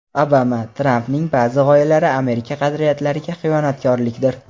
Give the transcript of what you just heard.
Obama: Trampning ba’zi g‘oyalari Amerika qadriyatlariga xiyonatkorlikdir.